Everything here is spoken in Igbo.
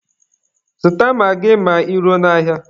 Zụta magị ma ị ruo n'ahịa!